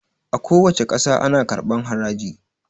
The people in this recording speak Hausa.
A kuwace ƙasa ana karɓan haraji